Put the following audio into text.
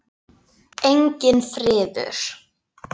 Enginn friður.